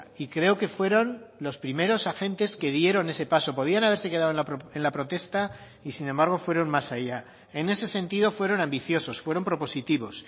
y creo que fueron los primeros agentes que dieron ese paso podían haberse quedado en la protesta y sin embargo fueron más allá en ese sentido fueron ambiciosos fueron propositivos